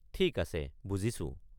ঠিক আছে বুজিছো।